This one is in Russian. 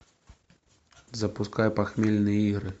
запускай похмельные игры